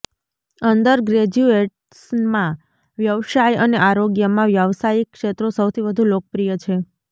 અંડરગ્રેજ્યુએટસમાં વ્યવસાય અને આરોગ્યમાં વ્યવસાયિક ક્ષેત્રો સૌથી વધુ લોકપ્રિય છે